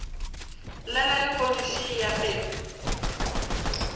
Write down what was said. llela lehono še e aperwe